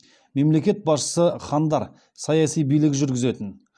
мемлекет басшысы хандар саяси билік жүргізетін